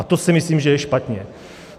A to si myslím, že je špatně.